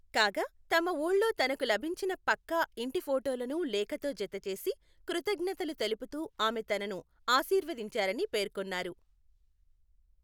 కాగా, తమ ఊళ్లో తనకు లభించిన పక్కా ఇంటి ఫొటోలను లేఖతో జతచేసి, కృతజ్ఞతలు తెలుపుతూ ఆమె తనను ఆశీర్వదించారని పేర్కొన్నారు.